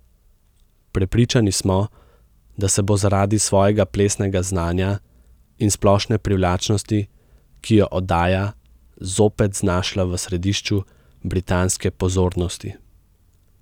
Prepričani smo, da se bo zaradi svojega plesnega znanja in splošne privlačnosti, ki jo oddaja, zopet znašla v središču britanske pozornosti.